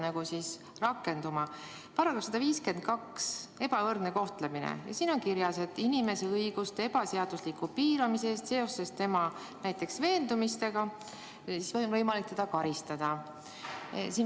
§-s 152 "Ebavõrdne kohtlemine" on kirjas, et inimese õiguste ebaseadusliku piiramise eest näiteks tema veendumuste tõttu on võimalik karistada.